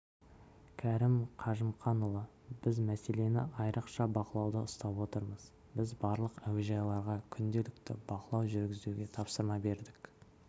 кәрім қажымқанұлы біз мәселені айрықша бақылауда ұстап отырмыз біз барлық әуежайларға күнделікті бақылау жүргізуге тапсырма бердік